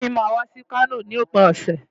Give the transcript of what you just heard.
Ọ̀gá mi máa wá sí Kano lópin ọ̀sẹ̀.